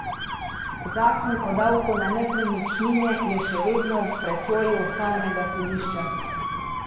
Zakon o davku na nepremičnine je še vedno v presoji ustavnega sodišča.